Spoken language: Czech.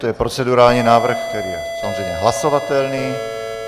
To je procedurální návrh, který je samozřejmě hlasovatelný.